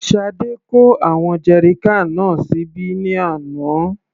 Sade kó àwọn jerrycan náà síbí ní àná.